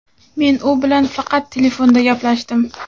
Men u bilan faqat telefonda gaplashdim.